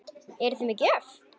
Eruði með gjöf?